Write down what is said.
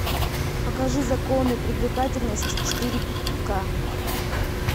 покажи законы привлекательности четыре ка